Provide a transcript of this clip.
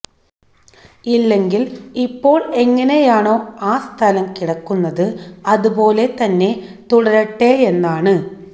ഇല്ലെങ്കില് ഇ്പ്പോള് എങ്ങിനെയാണോ ആ സ്ഥലം കിടക്കുന്നത് അതുപോലെ തന്നെ തുടരട്ടെയെന്നാണ്